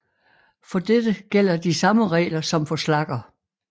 For dette gælder de samme regler som for slagger